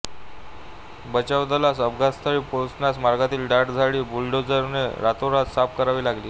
बचावदलास अपघातस्थळी पोचण्यास मार्गातील दाट झाडी बुलडोझरने रातोरात साफ करावी लागली